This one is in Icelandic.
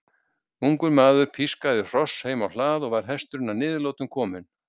Ungur maður pískaði hross heim á hlað og var hesturinn að niðurlotum kominn.